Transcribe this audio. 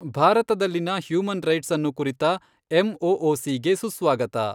ಭಾರತದಲ್ಲಿನ human rights ಅನ್ನು ಕುರಿತ ಎಮ್ಓಓಸಿ ಗೆ ಸುಸ್ವಾಗತ.